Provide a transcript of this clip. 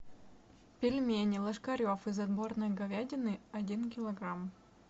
пельмени ложкарев из отборной говядины один килограмм